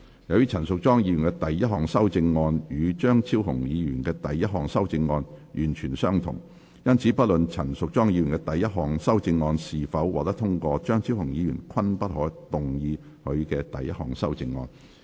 由於陳淑莊議員的第一項修正案與張超雄議員的第一項修正案完全相同，因此不論陳淑莊議員第一項修正案是否獲得通過，張超雄議員均不可動議他的第一項修正案。